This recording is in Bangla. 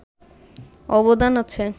অবদান আছে